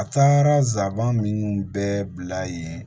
A taara nsaban minnu bɛɛ bila yen